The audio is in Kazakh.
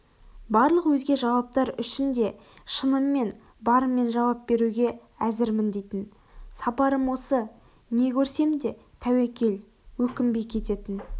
барлықөзге жауаптар үшін де шыныммен барыммен жауап беруге әзірмін дейтін сапарым осы не көрсем де тәуекел өкінбей кететін